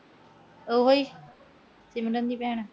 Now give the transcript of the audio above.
ਉਹ ਈ। ਸਿਮਰਨ ਦੀ ਭੈਣ।